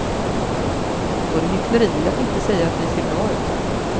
Det vore hyckleri att inte säga att vi ser bra ut.